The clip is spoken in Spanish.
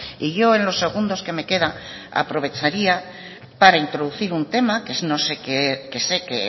y yo en los segundos que me quedan aprovecharía para introducir un tema que sé que